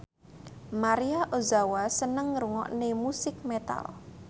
Maria Ozawa seneng ngrungokne musik metal